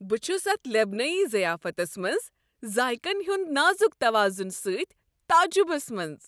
بہٕ چھس اتھ لبنٲنۍ ضیافتس منٛز ذائقن ہنٛد نازک توازن سۭتۍ تعجبس منٛز۔